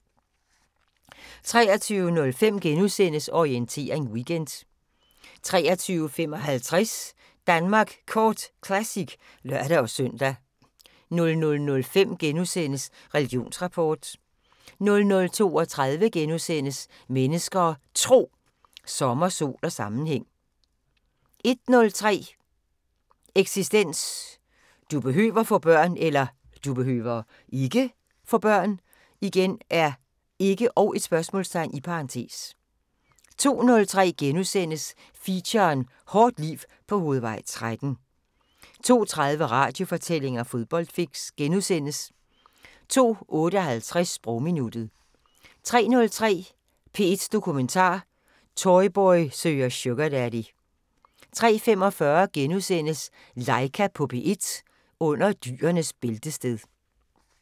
23:05: Orientering Weekend * 23:55: Danmark Kort Classic (lør-søn) 00:05: Religionsrapport * 00:32: Mennesker og Tro: Sommer, sol og sammenhæng * 01:03: Eksistens: Du behøver (ikke?) få børn 02:03: Feature: Hårdt liv på Hovedvej 13 * 02:30: Radiofortællinger: Fodboldfix * 02:58: Sprogminuttet 03:03: P1 Dokumentar: Boytoy søger Sugardaddy 03:45: Laika på P1 – under dyrenes bæltested *